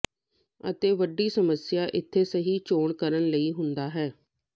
ਅਤੇ ਵੱਡੀ ਸਮੱਸਿਆ ਇੱਥੇ ਸਹੀ ਚੋਣ ਕਰਨ ਲਈ ਹੁੰਦਾ ਹੈ